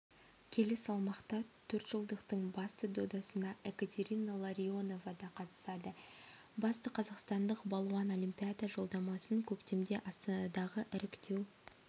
келі салмақта төртжылдықтың басты додасына екатерина ларионова да қатысады батысқазақстандық балуан олимпиада жолдамасын көктемде астанадағы іріктеу